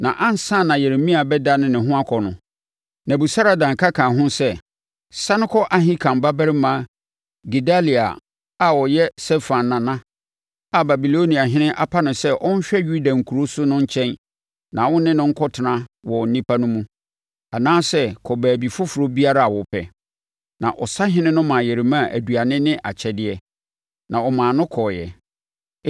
Na ansa na Yeremia bɛdane ne ho akɔ no, Nebusaradan ka kaa ho sɛ, “Sane kɔ Ahikam babarima Gedalia a, ɔyɛ Safan nana, a Babiloniahene apa no sɛ ɔnhwɛ Yuda nkuro so no nkyɛn na wo ne no nkɔtena wɔ nnipa no mu, anaasɛ kɔ baabi foforɔ biara a wopɛ.” Na ɔsahene no maa Yeremia aduane ne akyɛdeɛ, na ɔmaa no kɔeɛ.